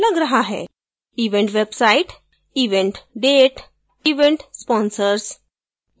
event website event date event sponsors